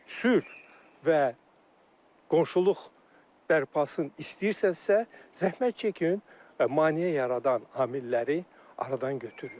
Sülh və qonşuluq bərpasını istəyirsənsə, zəhmət çəkin maneə yaradan amilləri aradan götürün.